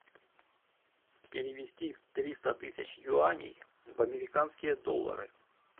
перевести триста тысяч юаней в американские доллары